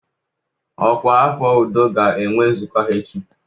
Ọkwa afọ udo ga-enwe nzukọ ha echi.